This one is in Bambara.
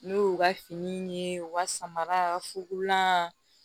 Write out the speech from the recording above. N'o y'u ka fini ye u ka samara fukurulan